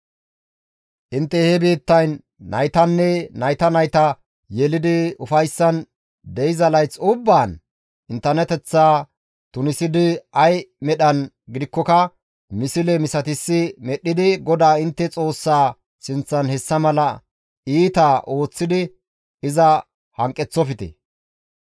«Intte he biittayn naytanne nayta nayta yelidi ufayssan de7iza layth ubbaan inttenateththaa tunisidi ay medhan gidikkoka misle misatissi medhdhidi GODAA intte Xoossaa sinththan hessa mala iitaa ooththidi iza hanqeththofte.